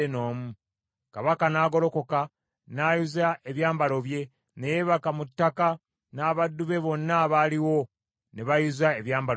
Kabaka n’agolokoka n’ayuza ebyambalo bye, ne yeebaka mu ttaka n’abaddu be bonna abaaliwo ne bayuza ebyambalo byabwe.